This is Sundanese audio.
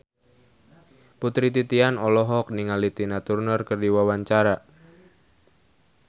Putri Titian olohok ningali Tina Turner keur diwawancara